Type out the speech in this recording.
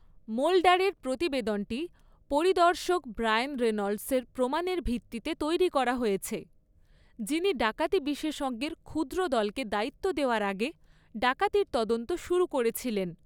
মোল্ডারের প্রতিবেদনটি পরিদর্শক ব্রায়ান রেনল্ডসের প্রমাণের ভিত্তিতে তৈরি করা হয়েছে, যিনি ডাকাতি বিশেষজ্ঞের ক্ষুদ্র দলকে দায়িত্ব দেওয়ার আগে ডাকাতির তদন্ত শুরু করেছিলেন।